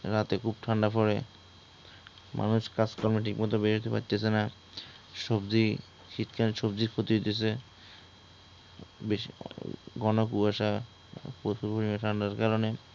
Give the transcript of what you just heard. রাতে খুব ঠান্ডা পড়ে, মানুষ কাজকর্মে ঠিকমতো বের হইতে পারতেছে না । সবজি শীতকালীন সবজির ক্ষতি হইতেছে । বেশ ঘন কুয়াশা, প্রচুর পরিমানে ঠান্ডার কারণে